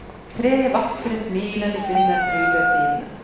Tre vakre, smilende kvinner pryder sidene.